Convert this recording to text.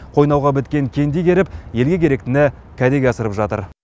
қойнауға біткен кенді игеріп елге керектіні кәдеге асырып жатыр